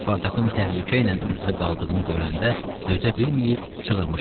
Spartakın təhlükə ilə üz-üzə qaldığını görəndə dözə bilməyib çığırmışdı.